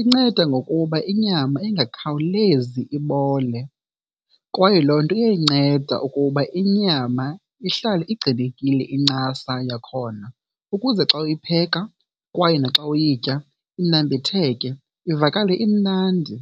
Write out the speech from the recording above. inceda ngokuba inyama ingakhawulezi ibole, kwaye loo nto iyayinceda ukuba inyama ihlale igcinekile incasa yakhona ukuze xa uyipheka kwaye naxa uyitya inambitheke ivakale imnandi.